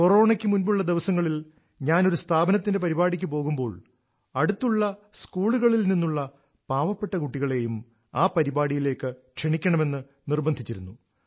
കൊറോണയ്ക്ക് മുമ്പുള്ള ദിവസങ്ങളിൽ ഞാൻ ഒരു സ്ഥാപനത്തിന്റെ പരിപാടിക്ക് പോകുമ്പോൾ അടുത്തുള്ള സ്കൂളുകളിൽ നിന്നുള്ള പാവപ്പെട്ട കുട്ടികളെയും ആ പരിപാടിയിലേക്ക് ക്ഷണിക്കണമെന്ന് നിർബന്ധിച്ചിരുന്നു